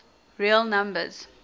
real numbers